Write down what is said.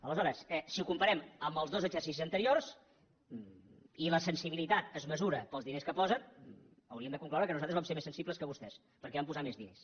aleshores si ho comparem amb els dos exercicis anteriors i la sensibilitat es mesura pels diners que s’hi posen hauríem de concloure que nosaltres vam ser més sensibles que vostès perquè hi vam posar més diners